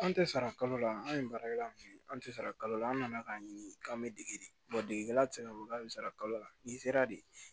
An tɛ sara kalo la an ye baarakɛla min ye an tɛ sara kalo la an nana k'a ɲini k'an bɛ dege de degelila tɛ se k'a fɔ k'a bɛ sara kalo la n'i sera de